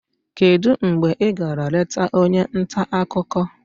kedu mgbe ị gara leta onye nta akụkọ?